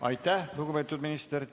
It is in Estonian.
Aitäh, lugupeetud minister!